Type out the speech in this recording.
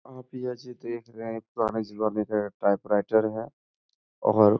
आप ऐसे देख रहे है पुराने जमाने का टाइप राइटर है और --